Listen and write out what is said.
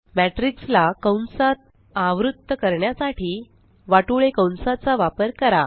matrixला कंसात आवृत्त करण्यासाठी वाटोळे कंसाचा वापर करा